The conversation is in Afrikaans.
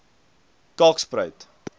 kalkspruit